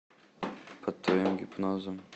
под твоим гипнозом